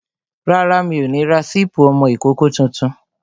Rárá, mi ò ní ra sípí ọmọ ìkókó tuntun